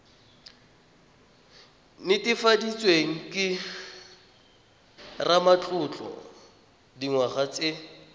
netefaditsweng ke ramatlotlo dingwaga tse